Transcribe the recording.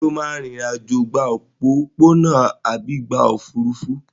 Ṣé o máa rìnrìn-àjò gba òpópónà àbí gba òfúrufú?